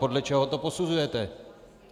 Podle čeho to posuzujete?